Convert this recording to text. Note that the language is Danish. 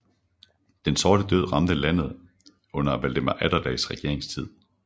Den sorte død ramte landet under Valdemar Atterdags regeringstid